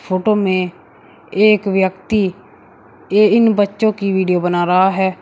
Photo में एक व्यक्ति इ इन बच्चों की वीडियो बना रहा है।